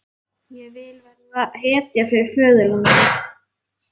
Ég vil verða hetja fyrir föðurlandið.